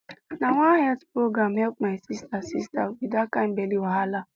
na one health program help my sister sister with that kind belly wahala